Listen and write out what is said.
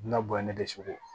Bɛna bɔ ye ne dɛsugo